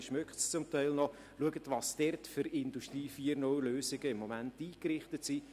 man riecht es zum Teil noch – für unsere KMU eingerichtet sind.